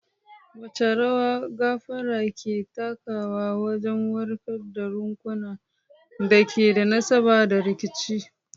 Wace rawa gafara ke takawa wajen warkar da raunukan da ke da nasaba da rikici?